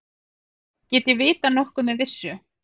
Get ég vitað nokkuð með vissu?